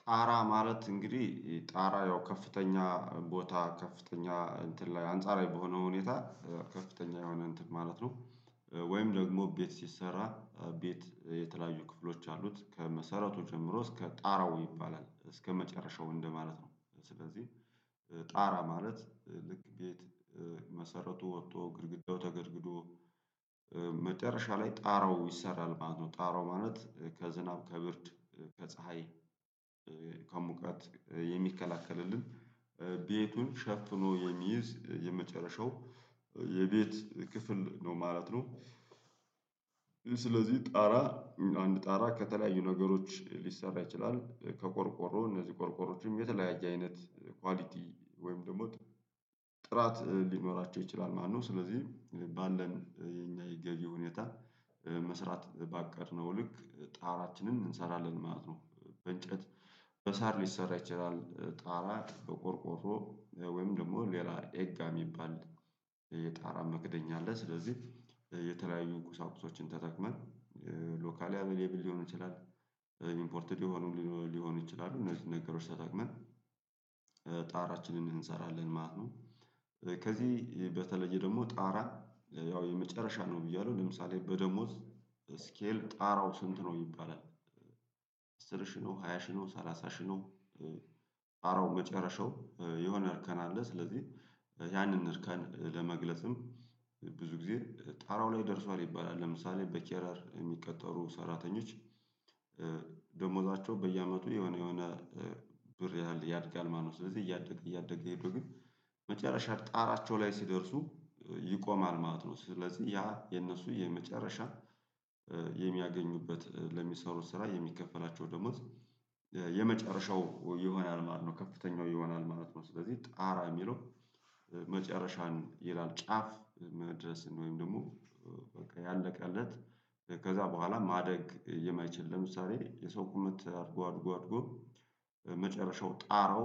ጣራ ማለት እንግዲህ ጣራ ያው ከፍተኛ ቦታ ከፍተኛ እንትን ላይ አንጻራዊ በሆነው ሁኔታ ከፍተኛ የሆነ እንትን ማለት ነው ወይም ደግሞ ቤት ሲሰራ ቤት የተለያዩ ክፍሎች አሉት ከመሰረቱ ጀምሮ እስከ ጣራው ይባላል እስከመጨረሻው እንደማለት ነው ስለዚህ ጣራ ማለት ልክ ቤት መሰረቱ ወጥቶ ግድግዳው ተገድግዶ መጨረሻ ላይ ጣራው ይሰራል ማለት ነው ጣራው ማለት ከዝናብ ከብርድ ከፀሀይ ከሙቀት የሚከላከልልን ቤቱን ሸፍኖ የሚይዝ የመጨረሻው የቤት ክፍል ነው ማለት ነው ስለዚህ ጣራ አንድ ጣራ ከተለያዩ ነገሮች ሊሰራ ይችላል ከቆርቆሮ እነዚህ ቆርቆሮዎችም የተለያየ አይነት ኳሊቲ ወይም ደግሞ ጥራት ሊኖራቸው ይችላል ማለት ነው ስለዚህ ባለን የገቢ ሁኔታ መስራት ባቀድነው ልክ ጣራችንን እንሰራለን ማለት ነው በእንጨት በሳር ሊሰራ ይችላል ጣራ በቆርቆሮ ወይም ደግሞ ሌላ ኤጋ የሚባል የጣራ መክደኛ አለ ስለዚህ የተለያዩ ቁሳቁሶችን ተጠቅመን ሎካሊ አቬለብል ሊሆን ይችላል ኢምፖርትድ ሊሆን ሊሆን ይችላል እነዚህን ነገሮች ተጠቅመን እንሰራለን ማለት ነው። ከዚህ በተለየ ደግሞ ጣራ ያው የመጨረሻ ነው እያሉ ለምሳሌ በደሞዝ ስኬል ጣራው ስንት ነው ይባላል አስር ሺህ ነው፣ ሃያ ሺህ ነው፣ ሰላሳ ሺህ ነው፣ ጣራው መጨረሻው የሆነ እርከን አለ ስለዚህ ያንን እርከን ለመግለጽም ብዙ ጊዜ ጣራው ላይ ደርሷል ይባላል ለምሳሌ በኬረር የሚቀጠሩ ሰራተኞች ደሞዛቸው በየአመቱ የሆነ የሆነ ብር ያህል ያድጋል ማነው ስለዚህ እያደገ እያደገ የሄዱት ግን መጨረሻ ጣራቸው ላይ ሲደርሱ ይቆማል ማለት ነው ስለዚህ ያ የነሱ የመጨረሻ የሚያገኙበት ለሚሰሩት ስራ የሚከፈላቸው ደሞዝ የመጨረሻው ይሆናል ማለት ነው ከፍተኛው ይሆናልማለት ነው ስለዚህ ጣራ የሚለው መጨረሻን ይላል ጫፍ መድረስ ነው ወይም ደግሞ በቃ ያለቀለት ከዛ በኋላ ማደግ የማይችል ለምሳሌ የሰው ቁመት አድጎ አድጎ አድጎ መጨረሻው ጣራው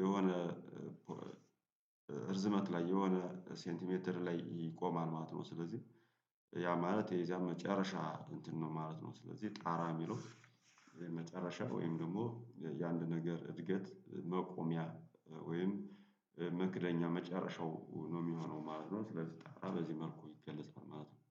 የሆነ እርዝመት ላይ የሆነ ሴንቲሜትር ላይ ይቆማል ማለት ነው ስለዚህ ያ ማለት የዚያ መጨረሻ እንትን ነው ማለት ነው ስለዚህ ጣራ የሚለው መጨረሻ ወይም ደግሞ የአንድ ነገር እድገት መቆሚያ ወይም መክደኛ መጨረሻው ነው የሚሆነው ማለት ነው ስለዚህ በዚህ መልኩ ይገለጻል ማለት ነው